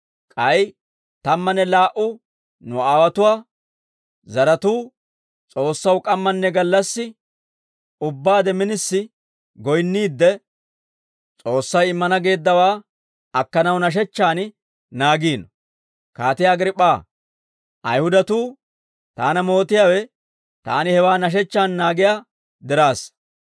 K'ay tammanne laa"u nu aawotuwaa zaratuu S'oossaw k'ammanne gallassi ubbaade minisi goyinniidde, S'oossay immana geeddawaa akkanaw nashechchaan naagiino; Kaatiyaa Agriip'p'aa, Ayihudatuu taana mootiyaawe taani hewaa nashechchaan naagiyaa diraassa.